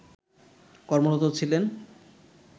কর্মরত ছিলেন